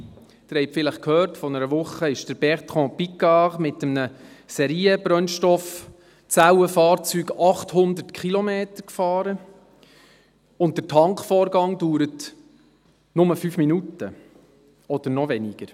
Sie haben vielleicht gehört, vor einer Woche ist Bertrand Piccard mit einem Serienbrennstoffzellenfahrzeug 800 Kilometer gefahren, und der Tankvorgang dauert nur fünf Minuten oder noch weniger.